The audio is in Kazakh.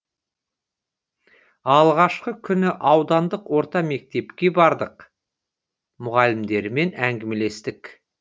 алғашқы күнді аудандық орта мектепке бардық мұғалімдерімен әңгімелестік